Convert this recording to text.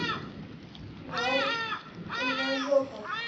нарик унажоков